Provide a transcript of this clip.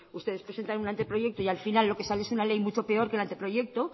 ustedes presentan un anteproyecto y al final lo que sale es una ley mucho peor que el anteproyecto